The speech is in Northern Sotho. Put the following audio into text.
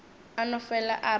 a no fele a re